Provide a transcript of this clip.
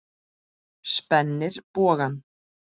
Spennir bogann.